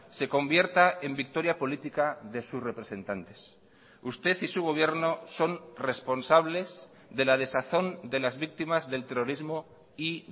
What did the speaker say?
se convierta en victoria política de sus representantes usted y su gobierno son responsables de la desazón de las víctimas del terrorismo y